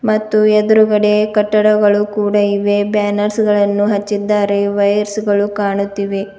ಮತ್ತು ಎದುರುಗಡೆ ಕಟ್ಟಡಗಳು ಕೂಡ ಇವೆ ಬ್ಯಾನರ್ಸ್ ಗಳನ್ನು ಹಚ್ಚಿದ್ದಾರೆ ವಯರ್ಸ್ ಗಳು ಕಾಣುತ್ತಿವೆ.